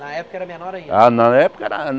Na época era menor ainda? Ah na época era